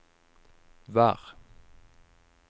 vær